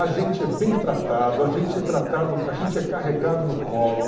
A gente é bem tratado, a gente é tratado, a gente é carregado no colo.